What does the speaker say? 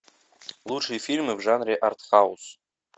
лучшие фильмы в жанре артхаус